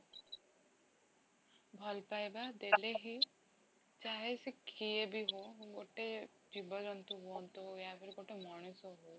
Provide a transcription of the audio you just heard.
ଭଲ ପାଇବା ଦେଲେ ହିଁ ସେ କିଏ ବି ହଉ ଗୋଟେ ଜିବ ଜନ୍ତୁ ହୁଅନ୍ତୁ ଗୋଟେ ମଣିଷ ହଉ